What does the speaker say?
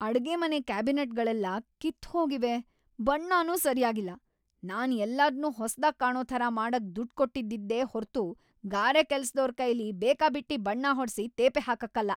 ಅಡ್ಗೆಮನೆ ಕ್ಯಾಬಿನೆಟ್‌ಗಳೆಲ್ಲ ಕಿತ್ತ್‌ ಹೋಗಿವೆ, ಬಣ್ಣನೂ ಸರ್ಯಾಗಿಲ್ಲ. ನಾನ್ ಎಲ್ಲದ್ನೂ ಹೊಸ್ದಾಗ್‌ ಕಾಣೋ ಥರ ಮಾಡಕ್‌ ದುಡ್ಡ್‌ ಕೊಟ್ಟಿದ್ದಿದ್ದೇ ಹೊರ್ತು ಗಾರೆ ಕೆಲ್ಸ್‌ದೋರ್‌ ಕೈಲಿ ಬೇಕಾಬಿಟ್ಟಿ ಬಣ್ಣ ಹೊಡ್ಸಿ ತೇಪೆ ಹಾಕಕ್ಕಲ್ಲ.